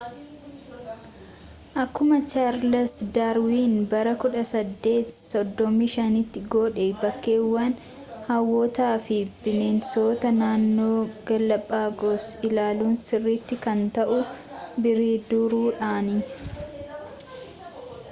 akkuma chaarles daarwiin bara 1835’tti godhe bakkeewwan hawwatoo fi bineensota naannoo gaalaapaagos ilaaluun sirriitti kan ta’u bidiruudhaani